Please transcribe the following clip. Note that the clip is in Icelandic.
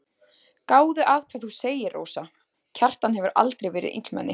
Gáðu að hvað þú segir, Rósa, Kjartan hefur aldrei verið illmenni.